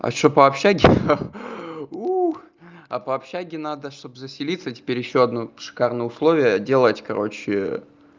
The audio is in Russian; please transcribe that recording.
а что по общежитию ха-ха уу а по общежитию надо чтобы заселиться теперь ещё одну шикарные условия делать короче